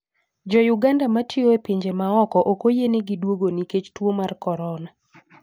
Jo Uganda matiyo e pinje maoko ok oyienegi duogo nikech tuo mar corona.